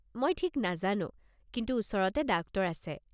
মই ঠিক নাজানো, কিন্তু ওচৰতে ডাক্তৰ আছে।